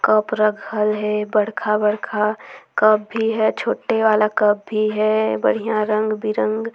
कप रखल हे बड़खा-बड़खा कप भी हे छोटे वाला कप भी हे बढ़िया -बढ़िया रंग बिरंग--